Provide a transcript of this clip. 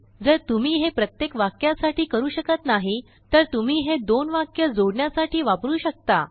जर तुम्ही हे प्रत्येक वाक्यासाठी करू शकत नाही तर तुम्ही हे दोनवाकये जोडण्यासाठी वापरू शकता